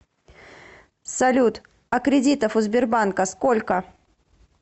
салют а кредитов у сбербанка сколько